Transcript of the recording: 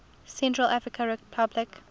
central african republic